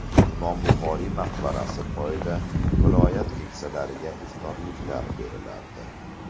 Imom Buxoriy maqbarasi poyida viloyat keksalariga iftorliklar berilardi.